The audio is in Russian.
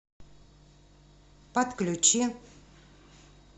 подключи